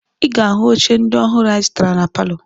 Ị ga-ahụ oche ndị ọhụrụ anyị zụtara na palọ